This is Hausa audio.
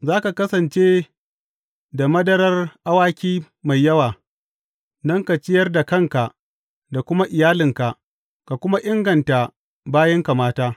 Za ka kasance da madarar awaki mai yawa don ka ciyar da kanka da kuma iyalinka ka kuma inganta bayinka mata.